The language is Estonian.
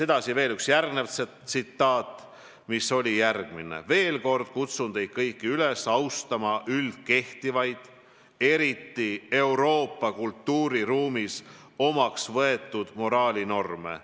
" Edasi: "Veel kord kutsun teid kõiki üles austama üldkehtivaid, eriti Euroopa kultuuriruumis omaks võetud moraalinorme.